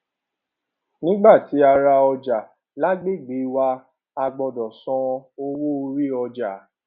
nígbà tí ra ọjà lágbègbè wa a gbọdọ san owó orí ọjà